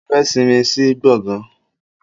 Mo fẹ́ sinmi sí gbọ̀ngán.